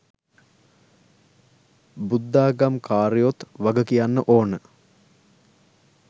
බුද්ධාගම් කාරයොත් වග කියන්න ඕන.